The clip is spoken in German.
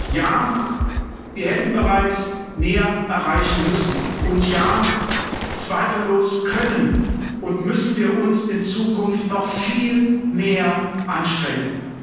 Ja, wir hätten bereits mehr erreichen müssen, und ja, zweifellos können und müssen wir uns in Zukunft noch viel mehr anstrengen.